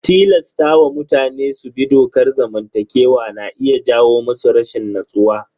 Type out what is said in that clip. Tilasta wa mutane su bi dokar zamantakewa na iya jawo musu rashin natsuwa.